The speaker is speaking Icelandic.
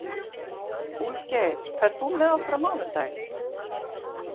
Úlfgeir, ferð þú með okkur á mánudaginn?